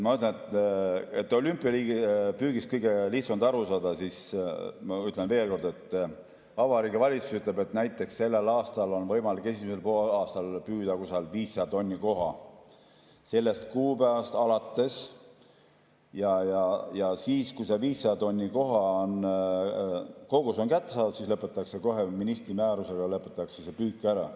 Et olümpiapüügist kõige lihtsam oleks aru saada, siis ma ütlen veel kord, et Vabariigi Valitsus ütleb, et näiteks sellel aastal on võimalik esimesel poolaastal püüda 500 tonni koha, sellest kuupäevast alates, ja siis, kui see 500 tonni koha, see kogus on kätte saadud, siis lõpetatakse kohe ministri määrusega see püük ära.